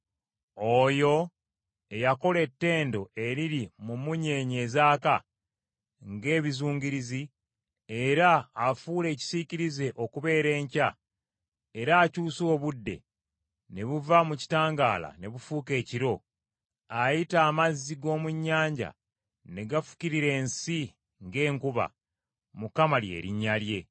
Oyo eyakola ettendo eriri mu mmunyeenye ezaaka ng’ebizungirizi era afuula ekisiikirize okubeera enkya era akyusa obudde ne buva mu kitangaala ne bufuuka ekiro, ayita amazzi g’omu nnyanja ne gafukirira ensi ng’enkuba, Mukama lye linnya lye.